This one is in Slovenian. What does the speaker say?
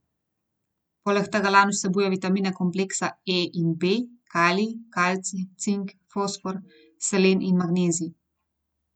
Poleg tega lan vsebuje vitamine kompleksa E in B, kalij, kalcij, cink, fosfor, selen in magnezij.